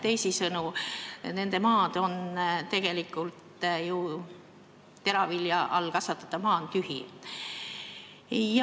Teisisõnu, see teravilja all olev maa on tühi.